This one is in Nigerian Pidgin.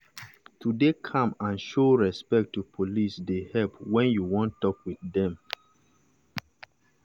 to dey calm and show respect to police dey help when you wan talk with dem.